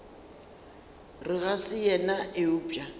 re ga se yena eupša